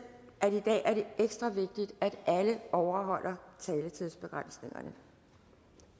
at at alle overholder taletidsbegrænsningerne